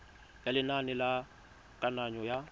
ya lenane la kananyo ya